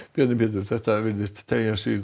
Bjarni Pétur þetta virðist teygja sig